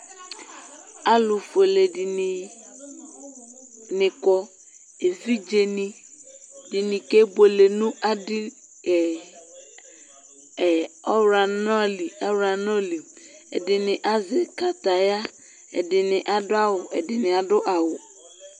Alubuele dini kɔ evidze ɛdini kebuele nu adili ɛdini azɛ kataya ɛdini adu awu